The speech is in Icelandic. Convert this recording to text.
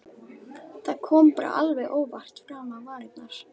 Það kom bara alveg óvart fram á varirnar.